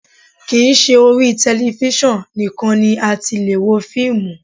Kì í ṣe orí tẹlifísàn nìkan ni a ti lè wo fíìmù